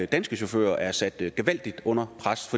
danske chauffører er sat gevaldigt under pres